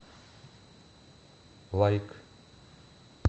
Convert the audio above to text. лайк